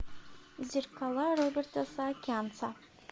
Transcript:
зеркала роберта саакянца